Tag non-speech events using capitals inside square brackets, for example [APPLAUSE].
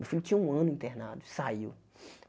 Meu filho tinha um ano internado, saiu. [SNIFFS]